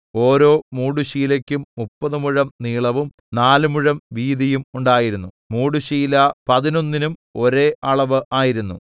ഓരോ മൂടുശീലയ്ക്കും മുപ്പത് മുഴം നീളവും നാല് മുഴം വീതിയും ഉണ്ടായിരുന്നു മൂടുശീല പതിനൊന്നിന്നും ഒരേ അളവ് ആയിരുന്നു